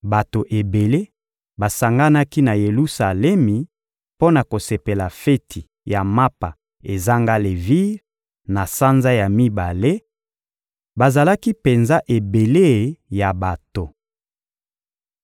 Bato ebele basanganaki na Yelusalemi mpo na kosepela feti ya Mapa ezanga levire, na sanza ya mibale: bazalaki penza ebele ya bato.